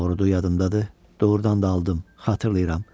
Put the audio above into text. Doğrudu, yadımdadır, doğrudan da aldım, xatırlayıram.